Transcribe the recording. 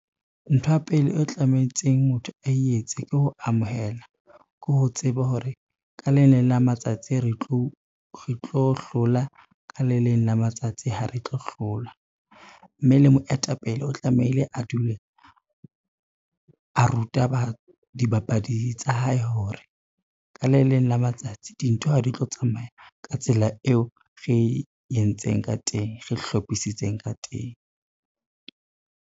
Ntho ya pele o tlametseng motho a etse ke ho amohela, ke ho tseba hore ka le leng la matsatsi re tlo hlola ka le leng la matsatsi ha re tlo hlola. Mme le moetapele o tlamehile a dule a ruta dibapadi tsa hae, hore ka le leng la matsatsi dintho ha di tlo tsamaya ka tsela eo re entseng ka teng, re hlophisitseng ka teng.